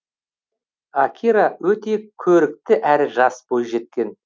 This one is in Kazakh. акира өте көрікті әрі жас бойжеткен